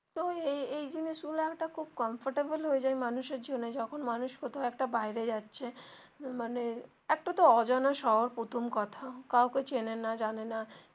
তো এই এই জিনিস গুলা একটা খুব comfortable হয়ে যায় মানুষ এর জন্যে যখন মানুষ কোথাও একটা বাইরে যাচ্ছে মানে একটা তো অজানা শহর প্রথম কথা কাউকে চেনে না জানে না.